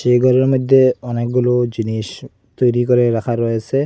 এই গরের মইদ্যে অনেকগুলো জিনিস তৈরি করে রাখা রয়েছে।